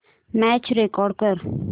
match record कर